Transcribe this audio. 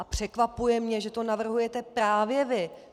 A překvapuje mě, že to navrhujete právě vy.